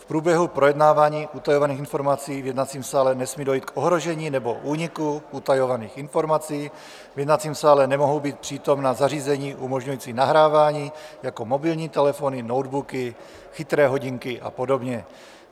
V průběhu projednávání utajovaných informací v jednacím sále nesmí dojít k ohrožení nebo úniku utajovaných informací, v jednacím sále nemohou být přítomna zařízení umožňující nahrávání jako mobilní telefony, notebooky, chytré hodinky a podobně.